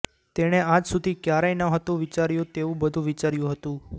તેણે આજસુધી ક્યારેય નહોતું વિચાર્યું તેવું બધું વિચાર્યું હતું